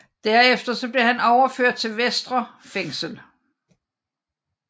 Derefter blev han overført til Vestre Fængsel